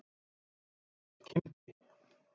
Hann nefndist Kimbi.